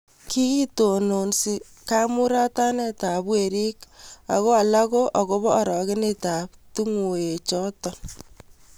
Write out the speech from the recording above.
kikitonon kamuratanekab werik aku alak ko akubo arokenetab tunguyonde noto